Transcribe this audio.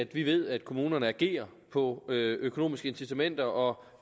vi ved at kommunerne agerer på økonomiske incitamenter og